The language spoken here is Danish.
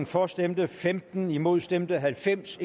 for stemte femten imod stemte halvfems